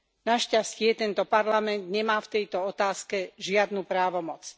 Našťastie, tento parlament nemá v tejto otázke žiadnu právomoc.